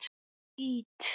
Ég skýt!